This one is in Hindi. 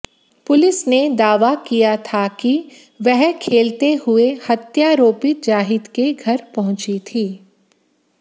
पुलिस ने दावा किया था कि वह खेलते हुई हत्यारोपित जाहिद के घर पहुंची थी